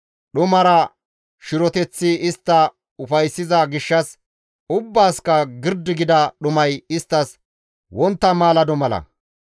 Dhumara shiroteththi istta ufayssiza gishshas ubbaasikka girdi gida dhumay isttas wontta maalado mala.